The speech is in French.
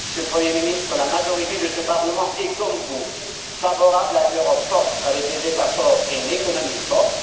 Monsieur le Premier ministre, la majorité de ce Parlement est, comme vous, favorable à une Europe forte avec des États forts et une économie forte.